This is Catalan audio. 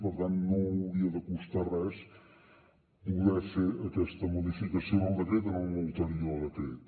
per tant no hauria de costar res poder fer aquesta modificació del decret en un ulterior decret